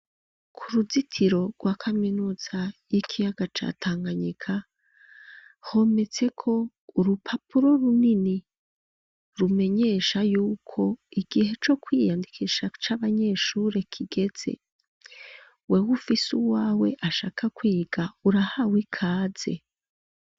Ku ruzitiro rwa kaminuza y'ikiyaga ca Tanganyika hometseko urupapuro runini rumenyesha yuko igihe co kwiyandikisha c'abanyeshure kigeze. Wewe ufise uwawe ashaka kwiga urahawe ikaze.